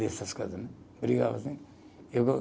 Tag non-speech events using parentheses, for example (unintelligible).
Essas coisa né. Brigava assim eu (unintelligible)